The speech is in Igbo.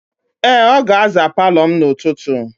Ee, ọ ga-aza palọ m n'ụtụtụ.